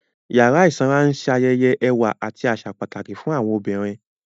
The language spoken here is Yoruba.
Yàrá ìsanra ń ṣayẹyẹ ẹwà àti àṣà pàtàkì fún àwọn obìnrin